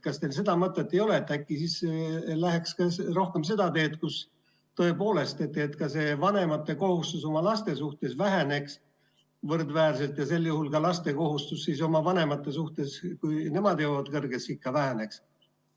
Kas teil seda mõtet ei ole, et äkki läheks rohkem seda teed, kus tõepoolest ka see vanemate kohustus oma laste suhtes väheneks võrdväärselt ja sel juhul ka laste kohustus oma vanemate suhtes, kui nemad jõuavad kõrgesse ikka, väheneks?